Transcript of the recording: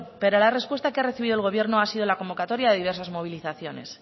pero la respuesta que ha recibido el gobierno ha sido la convocatoria de diversas movilizaciones